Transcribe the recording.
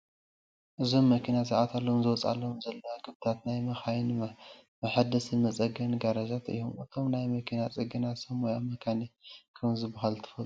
እዞም መኪና ዝኣትዋሎምን ዝወፃሎምን ዘለዋ ግብታት ናይ መኻይን መሓደስን መፀገንን ጋራጃት እዮም፡፡ እቶም ናይ መኪና ፅገና ሰብ ሞያ መካኒክ ከምዝበሃሉ ትፈልጡ ዶ?